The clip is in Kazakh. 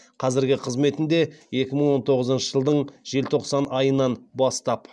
қазіргі қызметінде екі мың он тоғызыншы жылдың желтоқсан айынан бастап